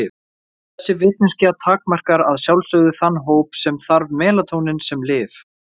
Þessi vitneskja takmarkar að sjálfsögðu þann hóp sem þarf melatónín sem lyf.